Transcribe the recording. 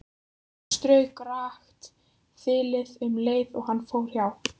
Hann strauk rakt þilið um leið og hann fór hjá.